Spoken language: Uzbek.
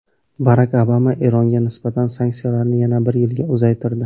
Barak Obama Eronga nisbatan sanksiyalarni yana bir yilga uzaytirdi.